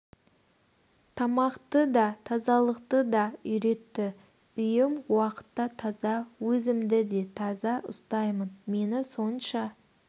тамақты да тазалықты да үйретті үйім уақытта таза өзімді де таза үстаймын мені сонша